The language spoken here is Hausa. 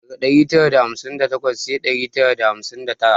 Daga dari tara da hamsin da takwas sai dari tara da hamsin da tara